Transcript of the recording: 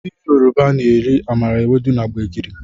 Ndị Yoruba na-eri amala, ewedu na gbegiri